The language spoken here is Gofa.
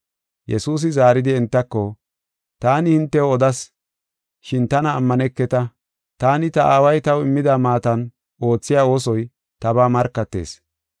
Yesuusi zaaridi entako, “Taani hintew odas; shin tana ammaneketa. Taani ta Aaway taw immida maatan oothiya oosoy tabaa markatees.